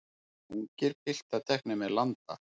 Ungir piltar teknir með landa